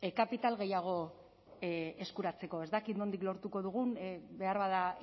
kapital gehiago eskuratzeko ez dakit nondik lortuko dugun beharbada